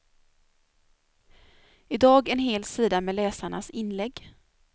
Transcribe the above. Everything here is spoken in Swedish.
I dag en hel sida med läsarnas inlägg.